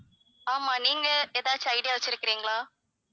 ஆமாம் நீங்க எதாச்சும் idea வச்சிருக்கிறீங்களா?